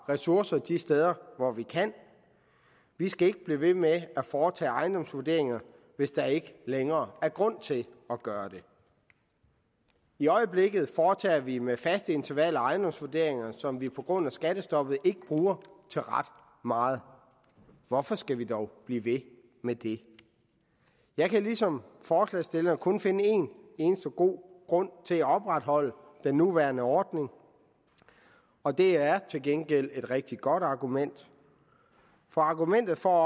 ressourcerne de steder hvor vi kan vi skal ikke blive ved med at foretage ejendomsvurderinger hvis der ikke længere er grund til at gøre det i øjeblikket foretager vi med faste intervaller ejendomsvurderinger som vi på grund af skattestoppet ikke bruger til ret meget hvorfor skal vi dog blive ved med det jeg kan ligesom forslagsstillerne kun finde en eneste god grund til at opretholde den nuværende ordning og det er til gengæld et rigtig godt argument argumentet for